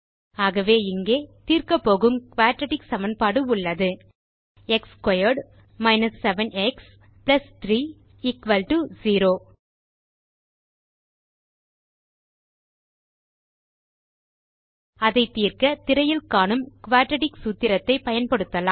ஆகவே இங்கே தீர்க்கப்போகும் குயாட்ராட்டிக் சமன்பாடு உள்ளது எக்ஸ் ஸ்க்வேர்ட் 7 எக்ஸ் 3 0 அதை தீர்க்க திரையில் காணும் குயாட்ராட்டிக் சூத்திரத்தை பயன்படுத்தலாம்